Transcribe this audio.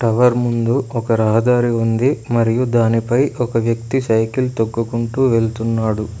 Tower ముందు ఒక రహదారి ఉంది మరియు దానిపై ఒక వ్యక్తి సైకిల్ తొక్కుకుంటూ వెళ్తున్నాడు.